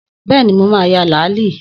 Bẹ́ẹ̀ni, mo ma ya làálí